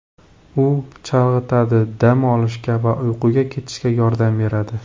U chalg‘itadi, dam olishga va uyquga ketishga yordam beradi.